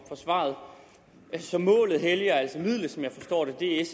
svaret så målet helliger altså midlet som jeg forstår det det er